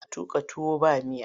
Suna tuƙa tuwa ba miya.